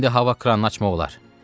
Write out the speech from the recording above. İndi hava kranını açmaq olar.